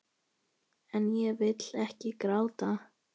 En ég vil ekki gráta.